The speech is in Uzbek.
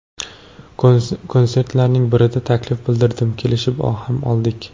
Konsertlarning birida taklif bildirdim, kelishib ham oldik.